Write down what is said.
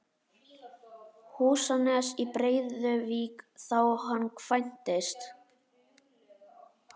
Húsanes í Breiðuvík þá hann kvæntist.